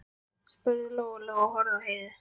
spurði Lóa Lóa og horfði á Heiðu.